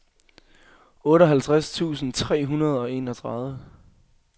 otteoghalvtreds tusind tre hundrede og enogtredive